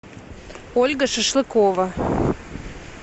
ольга шашлыкова